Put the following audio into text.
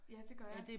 Ja det gør jeg